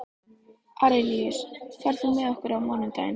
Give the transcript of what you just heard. Arilíus, ferð þú með okkur á mánudaginn?